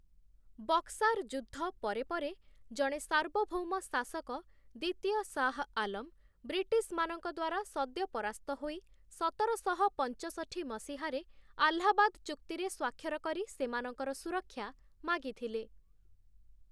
ବକ୍‌ସାର ଯୁଦ୍ଧ ପରେ ପରେ, ଜଣେ ସାର୍ବଭୌମ ଶାସକ, ଦ୍ୱିତୀୟ ଶାହ ଆଲମ, ବ୍ରିଟିଶ୍‌ମାନଙ୍କ ଦ୍ୱାରା ସଦ୍ୟ ପରାସ୍ତ ହୋଇ, ସତରଶହ ପାଞ୍ଚଷଠି ମସିହାରେ ଆହ୍ଲାବାଦ ଚୁକ୍ତିରେ ସ୍ୱାକ୍ଷର କରି ସେମାନଙ୍କର ସୁରକ୍ଷା ମାଗିଥିଲେ ।